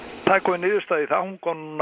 það er komin niðurstaða í